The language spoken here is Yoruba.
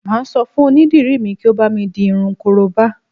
Mà á sọ fún onídìrí mi kí ó bámi di irun korobá